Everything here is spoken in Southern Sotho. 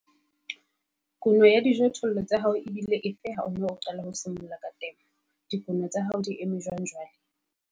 Kuno ya dijothollo tsa hao e bile efe ha o ne o simolla ka temo? Dikuno tsa hao di eme jwang jwale?